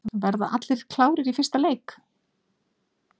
Verða allir klárir í fyrsta leik?